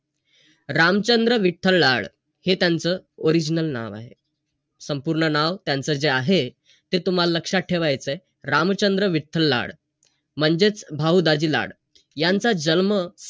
आणि जे आपण शिकणार आहोत ते आपल्याच फायदाच असणार .